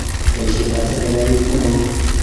Boisietab serikalit neoo